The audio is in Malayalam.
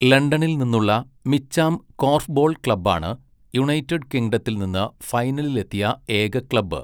ലണ്ടനിൽ നിന്നുള്ള മിച്ചാം കോർഫ്ബോൾ ക്ലബ്ബാണ് യുണൈറ്റഡ് കിംഗ്ഡത്തിൽ നിന്ന് ഫൈനലിലെത്തിയ ഏക ക്ലബ്.